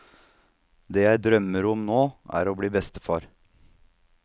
Det jeg drømmer om nå, er å bli bestefar.